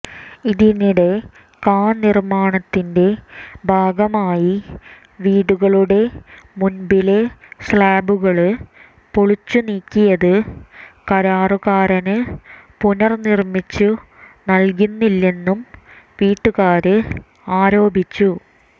ഇതിനിടെ കാനിര്മാണത്തിന്റെ ഭാഗമായി വീടുകളുടെ മുന്പിലെ സ്ലാബുകള് പൊളിച്ചുനീക്കിയത് കരാറുകാരന് പുനര്നിര്മിച്ചു നല്കുന്നില്ലെന്ന് വീട്ടുകാര് ആരോപിച്ചു